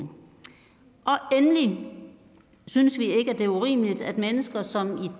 endelig synes vi ikke at det er urimeligt at mennesker som i